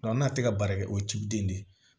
n'a tɛ ka baara kɛ o ciden de ye